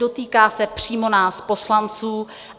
Dotýká se přímo nás poslanců.